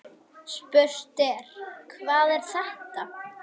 Spurt er: Hvað er þetta?